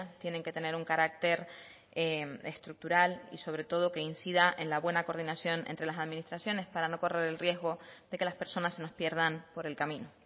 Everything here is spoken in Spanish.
tienen que tener un carácter estructural y sobre todo que incida en la buena coordinación entre las administraciones para no correr el riesgo de que las personas se nos pierdan por el camino